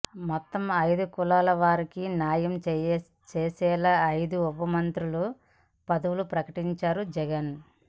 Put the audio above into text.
మొత్తం ఐదు కులాల వారికి న్యాయం చేసేలా ఐదు ఉపముఖ్యమంత్రి పదవులు ప్రకటించారు జగన్